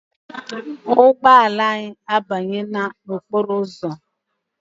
Ụgbọala anyị a banyela n'okporo ụzọ.